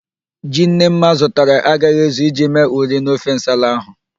Ji Nnemma zụtara agaghị ezu iji mee ụrị n'ofe nsala ahụ